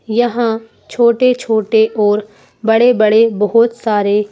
यहां छोटे-छोटे और बड़े-बड़े बहुत सारे--